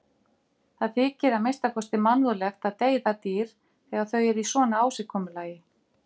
Það þykir að minnsta kosti mannúðlegt að deyða dýr þegar þau eru í svona ásigkomulagi.